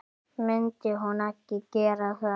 Myndi hún ekki gera það?